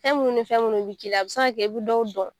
Fɛn munnu ni fɛn munnu bɛ k'i la a bɛ se ka kɛ i bɛ dɔw dɔn.